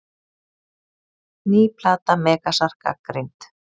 Ný plata Megasar gagnrýnd